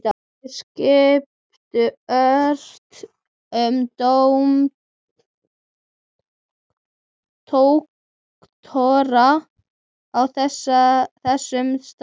Þeir skiptu ört um doktora á þessum stað.